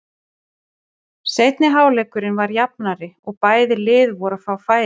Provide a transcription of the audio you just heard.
Seinni hálfleikurinn var jafnari og bæði lið voru að fá færi.